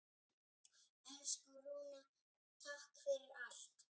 Elsku Rúna, takk fyrir allt.